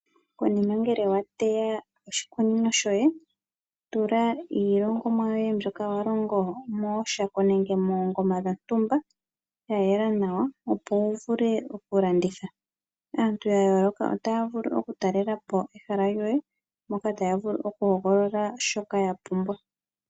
Konima ngele wa teya oshikunino shoye, tula iilongomwa yoye mbyoka wa longo mooshako nenge moongoma dhontumba , ya yela nawa opo wu vule oku landitha. Aantu ya yooloka ota ya vulu oku talela po ehala lyoye moka taya vulu oku hogolola shoka ya pumbwa.